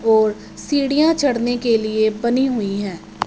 और सीढ़ियां चढ़ने के लिए बनी हुई हैं।